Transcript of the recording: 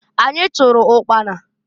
Anyị chụrụ ụkpana.